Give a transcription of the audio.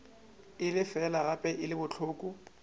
e lefa gape e bohloko